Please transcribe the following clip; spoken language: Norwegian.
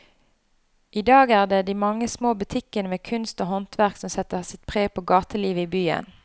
I dag er det de mange små butikkene med kunst og håndverk som setter sitt preg på gatelivet i byen.